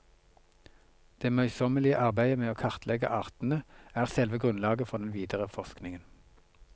Det møysommelige arbeidet med å kartlegge artene er selve grunnlaget for den videre forskningen.